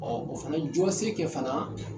o fana jɔ ye se kɛ fana